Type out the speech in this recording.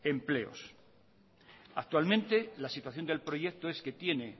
empleos actualmente la situación del proyecto es que tiene